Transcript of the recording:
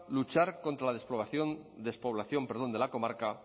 luchar contra la despoblación despoblación perdón de la comarca